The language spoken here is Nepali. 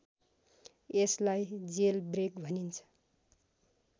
यसलाई जेलब्रेक भनिन्छ